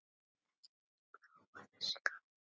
Ekki neitt blávatn þessi karl!